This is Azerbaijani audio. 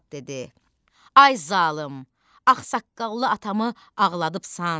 Basat dedi: Ay zalım, ağsaqqallı atamı ağladıbsan.